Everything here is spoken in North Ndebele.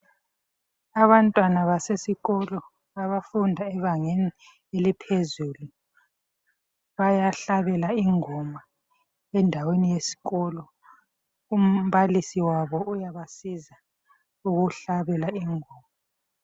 Abantwana basesikolo abafunda ebangeni eliphezulu bayahlabela ingoma endaweni yesikolo. Umbalisi wabo uyabasiza ukuhlabela ingoma.